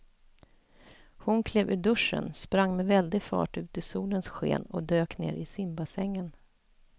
Hon klev ur duschen, sprang med väldig fart ut i solens sken och dök ner i simbassängen.